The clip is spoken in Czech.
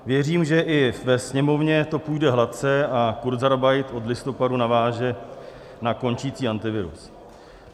Věřím, že i ve Sněmovně to půjde hladce a kurzarbeit od listopadu naváže na končící Antivirus."